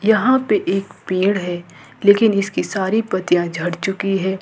यहां पे एक पेड़ है लेकिन इसकी सारी पत्तियां झड़ चुकी है।